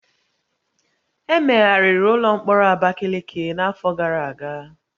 Emegharịrị ụlọ mkpọrọ Abakiliki n'afọ gara aga